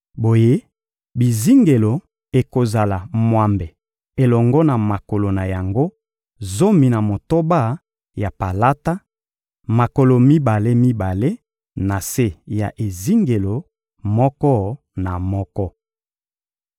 Boye, bizingelo ekozala mwambe elongo na makolo na yango zomi na motoba ya palata: makolo mibale-mibale na se ya ezingelo moko na moko.